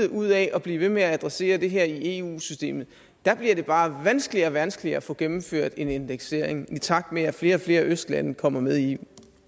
ud af at blive ved med at adressere det her i eu systemet der bliver det bare vanskeligere og vanskeligere at få gennemført en indeksering i takt med at flere og flere østlande kommer med i